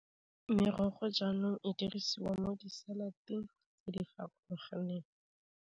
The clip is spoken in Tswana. Merogo jaanong e dirisiwa mo di salad teng tse di farologaneng.